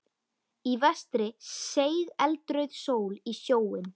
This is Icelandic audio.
Í vestri seig eldrauð sól í sjóinn.